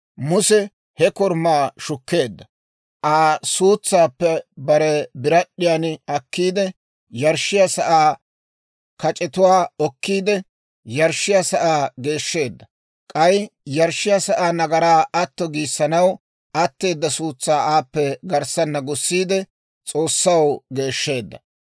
Muse he korumaa shukkeedda; Aa suutsaappe bare birad'd'iyaan akkiide, yarshshiyaa sa'aa kac'etuwaa okkiide, yarshshiyaa sa'aa geeshsheedda; k'ay yarshshiyaa sa'aa nagaraa atto giissanaw atteeda suutsaa aappe garssana gussiide, S'oossaw geeshsheedda.